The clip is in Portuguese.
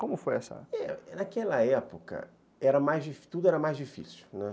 Como foi essa... Naquela época, era, tudo era mais difícil, né.